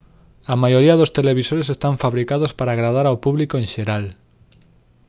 a maioría dos televisores están fabricados para agradar ao público en xeral